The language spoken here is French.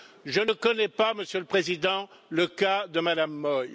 Je ne connais pas, Monsieur le Président, le cas de Madame Moi.